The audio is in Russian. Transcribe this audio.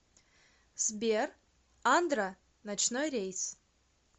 сбер андро ночной рейс